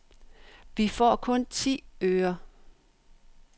Vi får kun ti øre.